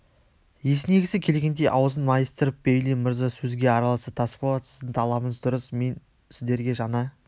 есінегісі келгендей аузын майыстырып бейли мырза сөзге араласты тасболат сіздің талабыңыз дұрыс мен сіздерге жаңа